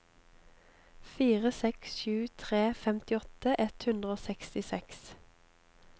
fire seks sju tre femtiåtte ett hundre og sekstiseks